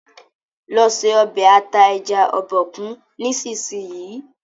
lọ se Ọbẹ̀ ata ẹja Obokun nísìsiyìí!